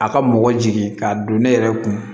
A ka mɔgɔ jigin k'a don ne yɛrɛ kun